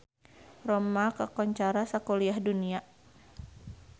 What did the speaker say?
Roma kakoncara sakuliah dunya